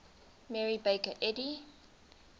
mary baker eddy